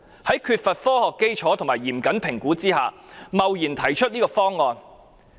在缺乏科學基礎和嚴謹評估下，她貿然提出這個方案。